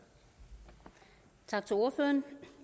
sådan